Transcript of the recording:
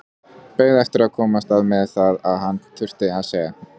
Beið eftir að komast að með það sem hann þurfti að segja.